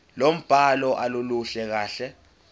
lombhalo aluluhle kahle